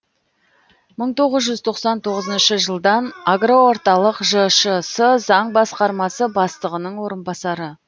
мың тоғыз жүз тоқсан тоғызыншы жылдан агроорталық жшс заң басқармасы бастығының орынбасары